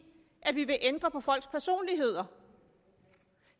at vi vil ændre på folks personligheder